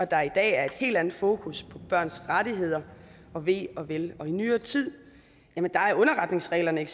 der i dag er et helt andet fokus på børns rettigheder og ve og vel i nyere tid er underretningsreglerne